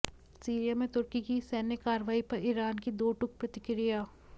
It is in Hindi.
सीरिया में तुर्की की सैन्य कार्यवाही पर ईरान की दो टूक प्रतिक्रिया